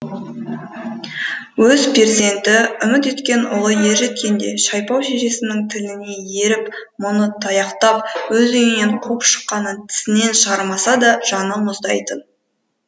өз перзенті үміт еткен ұлы ержеткенде шайпау шешесінің тіліне еріп мұны таяқтап өз үйінен қуып шыққанын тісінен шығармаса да жаны мұздайтын